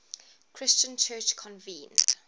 christian church convened